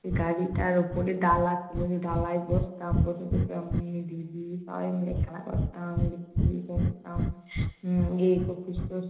সেই গাড়িটার উপরে ডালা খুলে সে ডালায় বসতাম। বসে বসে আমি দিদি সবাই মিলে খেলা করতাম, লুকোচুরি খেলতাম। এর